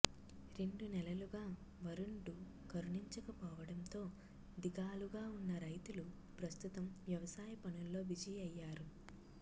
రెండు నెలలుగా వరుణుడు కరుణించకపోవడంతో దిగాలుగా ఉన్న రైతులు ప్రస్తుతం వ్యవసాయ పనుల్లో బిజీ అయ్యారు